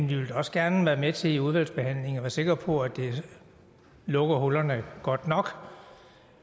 vi vil da også gerne være med til i udvalgsbehandlingen at være sikre på at det lukker hullerne godt nok